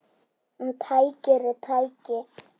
En tæki eru tæki.